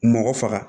Mɔgɔ faga